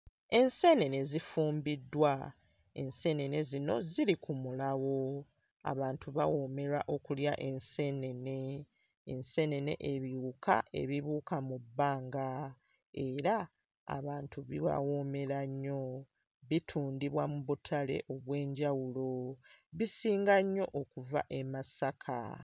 Enseenene zifumbiddwa, enseenene zino ziri ku mulawo, abantu bawoomerwa okulya enseenene, enseenene ebiwuka ebibuuka mu bbanga era abantu bibawoomera nnyo, bitundubwa mu butale obw'enjawulo, bisinga nnyo okuva e Masaka.